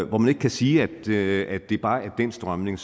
hvor man ikke kan sige at det at det bare er den strømning